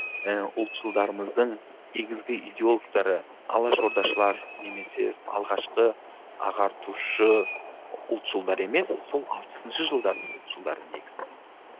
і ұлтшылдарымыздың негізгі иделогтары алаш ордашылар немесе алғашқы ағартушы ұлтшылдар емес сол алпысыншы жылдардың ұлтшылдары негізінде